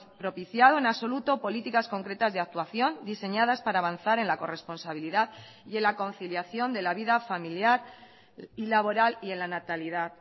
propiciado en absoluto políticas concretas de actuación diseñadas para avanzar en la corresponsabilidad y en la conciliación de la vida familiar y laboral y en la natalidad